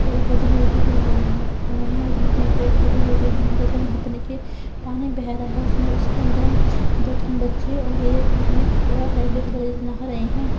पेड़ पौधे भी उगे हुए हैं और बीच में पेड़ पौधे भी उगे हुए हैं तथा जहां पर देखिये पानी बह रहा है। उसने उसके अंदर दो तीन बच्चे और एक आदमी खड़ा है। नहा रहे हैं।